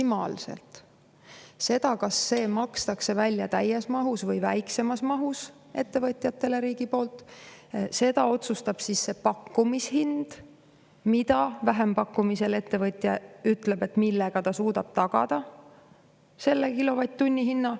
Selle, kas see makstakse riigi poolt ettevõtjatele täies mahus või väiksemas mahus, otsustab pakkumishind, mille vähempakkumisel ettevõtja ütleb ja millega ta suudab tagada selle kilovatt-tunni hinna.